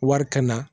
Wari ka na